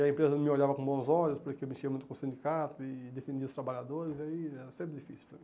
E a empresa não me olhava com bons olhos, porque eu mexia muito com sindicato e defendia os trabalhadores, aí era sempre difícil para mim.